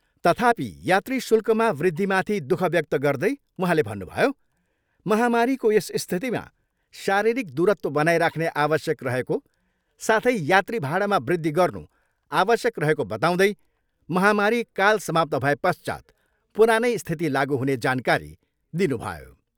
तथापि यात्री शूल्कमा वृद्धिमाथि दुःख व्यक्त गर्दै उहाँले भन्नुभयो, महामारीको यस स्थितिमा शारीरिक दुरत्व बनाइराख्ने आवश्यक रहेको साथै यात्री भाडामा वृद्धि गर्नु आवश्यक रहेको बताउँदै महामारी काल समाप्त भएपश्चात् पुरानै स्थिति लागु हुने जानकारी दिनुभयो।